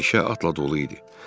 Meşə atla dolu idi.